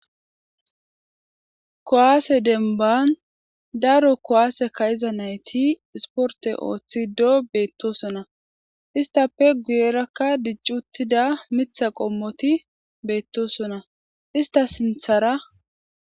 kowaase denban daro kowaase kayiza nayti isporte ooththido beettosonna istappe guyerakka diccuttida mitha qommoti beettosonna ista sinthara